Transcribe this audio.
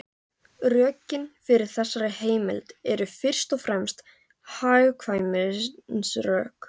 Rökin fyrir þessari heimild eru fyrst og fremst hagkvæmnisrök.